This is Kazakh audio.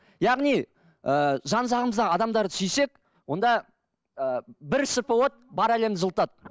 яғни ыыы жан жағымызда адамдарды сүйсек онда ы бір шырпы от бар әлемді жылытады